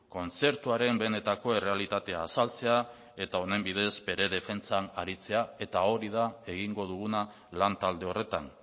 kontzertuaren benetako errealitatea azaltzea eta honen bidez ere defentsan aritzea eta hori da egingo duguna lan talde horretan